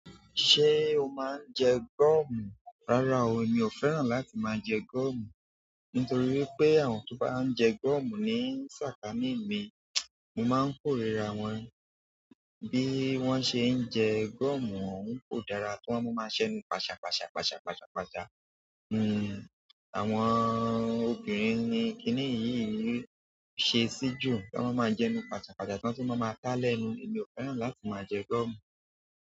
Ṣé o máa ń jẹ gomu. Rárá o, mi ò fẹ́ràn láti máa jẹ gọ̀mù. Nítorí wipé àwọn tó bá ń jẹ gọ̀mù ní ṣàkáními, mo máa ń kórìíra wọn. Bí wọ́n ṣe ń jẹ gọ̀mù ọun kò dára. Wọn máa maa ṣenu pàṣàpàṣà, pàṣàpàṣà, pàṣà. Hmm, àwọn obìnrin ni kíní yìí ṣe sí jù, wọ́n máa jẹ nu pàṣàpàṣà, tí wọ́n tu ma máa dáa lẹ́nu. Mi ò fẹ́ràn láti máa jẹ gọ̀mù.